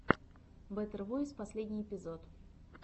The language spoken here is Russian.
бэтэр войс последний эпизод